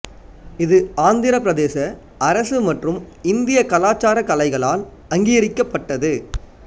இது ஆந்திரப் பிரதேச அரசு மற்றும் இந்திய கலாச்சார கலைகளால் அங்கீகரிக்கப்பட்டது